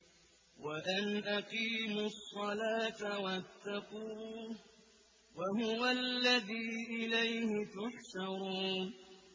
وَأَنْ أَقِيمُوا الصَّلَاةَ وَاتَّقُوهُ ۚ وَهُوَ الَّذِي إِلَيْهِ تُحْشَرُونَ